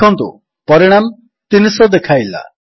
ଦେଖନ୍ତୁ ପରିଣାମ 300 ଦେଖାଇଲା